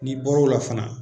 N'i bar'o la fana